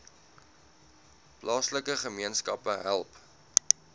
plaaslike gemeenskappe help